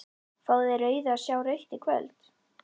Fá þeir rauðu að sjá rautt í kvöld?